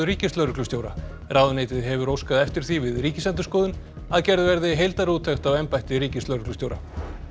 ríkislögreglustjóra ráðuneytið hefur óskað eftir því við Ríkisendurskoðun að gerð verði heildarúttekt á embætti ríkislögreglustjóra